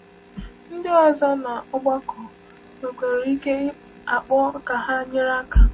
Ndị ọzọ n’ọgbakọ nwekwara ike akpọ ka ha nyere aka.